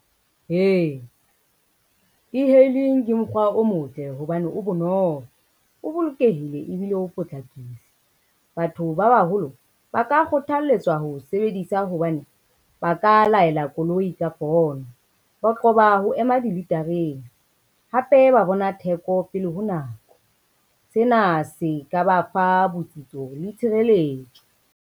Ee, e-hailing ke mokgwa o motle hobane o bonolo, o bolokehile ebile o potlakile. Batho ba baholo ba ka kgothalletswa ho o sebedisa hobane, ba ka laela koloi ka pono. Ba qoba ho ema dilitareng, hape ba bona theko pele ho nako. Sena se ka ba fa botsitso le tshireletso.